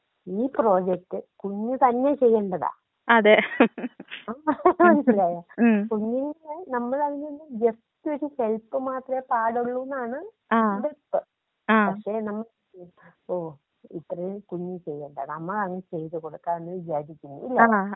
ഈ പ്രൊജക്റ്റ് കുഞ്ഞ് തന്നെ ചെയ്യേണ്ടതാ മനസ്സിലായോ? കുഞ്ഞിനോക്കെ നമ്മൾ അതിലൊരു ജസ്റ്റ് ഒരു ഹെൽപ്പ് മാത്രേ പാടുള്ളൂന്നാണ് വപ്പ്. പക്ഷേ നോട്ട്‌ ക്ലിയർ ഇപ്പോ ഇത്രയും കുഞ്ഞ് ചെയ്യേണ്ട നമ്മളാണ് ചെയ്തുകൊടുക്കാ എന്ന് വിചാരിക്കുന്നത് ഇല്ലേ?